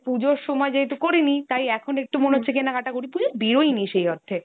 এবারে পুজোর সময় যেহেতু করিনি, তাই এখন একটু কেনাকাটা করি। পুজোয় বেরোয়নি সেই অর্থে।